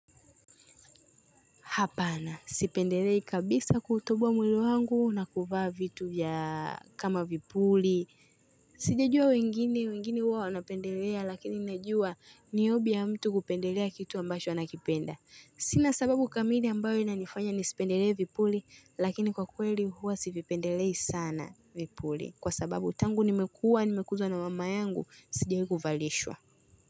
Hapana, sipendelei kabisa kutoboa mwili wangu na kuvaa vitu kama vipuli. Sijajua wengine, wengine huwa wanapendelea lakini najua ni hobby ya mtu kupendelea kitu ambacho anakipenda. Sina sababu kamili ambayo inanifanya nisipendelee vipuli lakini kwa kweli huwa sipendelei sana vipuli. Kwa sababu tangu nimekuwa, nimekuzwa na mama yangu, sijawahi kuvalishwa.